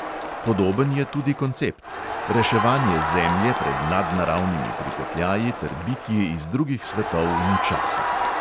Podoben je tudi koncept: reševanje zemlje pred nadnaravnimi pripetljaji ter bitji iz drugih svetov in časa.